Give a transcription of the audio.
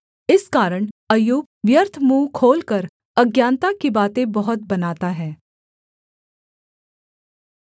इस कारण अय्यूब व्यर्थ मुँह खोलकर अज्ञानता की बातें बहुत बनाता है